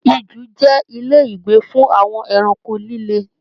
Ijù jẹ ilé ìgbé fún àwọn ẹranko lílé.